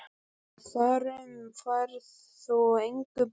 Þar um færð þú engu breytt.